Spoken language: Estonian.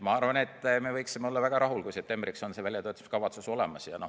Ma arvan, et me võiksime olla väga rahul, kui septembriks on see väljatöötamiskavatsus olemas.